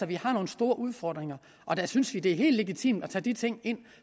vi har nogle store udfordringer og der synes vi det er helt legitimt at tage de ting ind